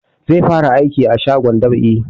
Zai fara aiki a shagon dab'i